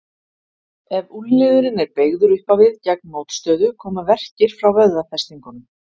Ef úlnliðurinn er beygður upp á við gegn mótstöðu koma verkir frá vöðvafestingunum.